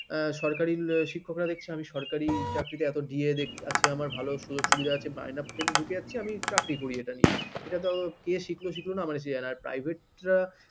এ সরকারি শিক্ষকরা দেখছে আমি সরকারি চাকরিতে এত দি য়ে দেখছে আছে আমার ভালো সুযোগ সুবিধা আছে মাই নে ঢুকে যাচ্ছে আমি চাকরি করি এটা নিয়ে এটা থেকে শিখলো না শিখল যায় না আর private রা